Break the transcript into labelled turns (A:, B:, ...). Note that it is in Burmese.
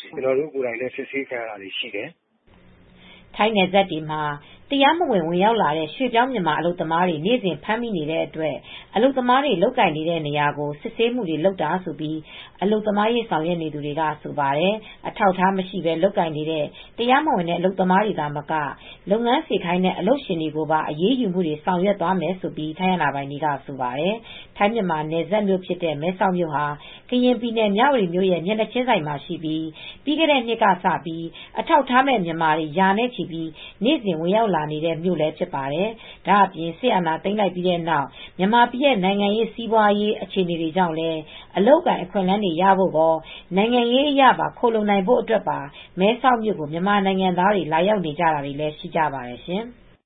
A: ကျနော်တို့ကိုယ်တိုင်လည်း စစ်ဆေးခံရတာတွေရှိနေတယ်
B: " ထိုင်းနယ်စပ်တွေမှာ တရားမဝင် ဝင်ရောက်လာတဲ့ ရွှေ့ပြောင်းမြန်မာ အလုပ်သမားတွေ နေ့စဉ်ဖမ်းမိတဲ့အတွက် အလုပ်သမားတွေ လုပ်ကိုင်တဲ့နေရာကို စစ်ဆေးမှုတွေ လုပ်နေတာလို့ အလုပ်သမားရေး ဆောင်ရွက်နေသူတွေကဆိုပါတယ် ။ အထောက်အထားမရှိဘဲ လုပ်ကိုင်နေတဲ့ တရားမဝင်တဲ့ အလုပ်သမားတွေသာမက လုပ်ငန်းစေခိုင်းတဲ့ အလုပ်ရှင်ကိုပါ အရေးယူမှုတွေ ဆောင်ရွက်သွားမယ်လို့ ထိုင်းအာဏာပိုင်တွေကဆိုပါတယ် ။ ထိုင်းမြန်မာနယ်စပ်မြို့ဖြစ်တဲ့ မဲဆောက်မြို့ဟာ ကရင်ပြည်နယ် မြဝတီမြို့ရဲ့မျက်နှာချင်းဆိုင်မှာရှိပြီး ပြီးခဲ့တဲ့နှစ်ကစလို့ အထောက်အထားမဲ့မြန်မာတွေ ရာနဲ့ချီပြီး နေ့စဉ်ဝင်ရောက်နေတဲ့မြို့လည်းဖြစ်ပါတယ်။ ဒါအပြင်စစ်အာဏာသိမ်းလိုက်ပြီးတဲ့နောက် မြန်မာပြည်ရဲ့ နိုင်ငံရေး စစ်ရေး စီးပွာရေး အခြေနေတွေကြောင့် အလုပ်အကိုင်အခွင့်အလန်းတွေရဖို့ကော နိုင်ငံရေးအရခိုလှုံနိုင်ဖို့အတွက်ပါ မဲဆောက်မြို့ကိုမြန်မာနိုင်ငံသားတွေ လာရောက်နေကြတာတွေလည်းရှိကြပါတယ်ရှင်။